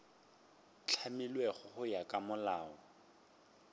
hlamilwego go ya ka molao